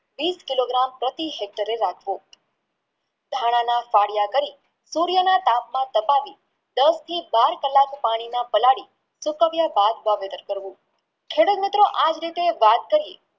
વિષ કિલો gram પ્રતિ HEKTAR રાખવો ધાણા ફાડ્યા કરી સૂર્યના તાપમાં તપાવી દસથી બે કલાક પાણીમાં તપાવી તપાવ્યા બાદ વાવેતર કરવું ખેડૂત મિત્રો આજ રીતે વાત કરીયે